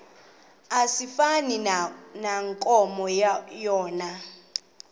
asifani nankomo yona